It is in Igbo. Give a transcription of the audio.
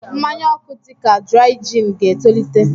mmanya oku dị ka Dry Gin ga-etolite.